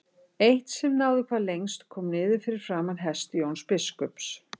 Eitt sem náði hvað lengst kom niður fyrir framan hest Jóns biskups.